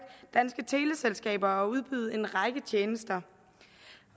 danske teleselskaber at udbyde en række tjenester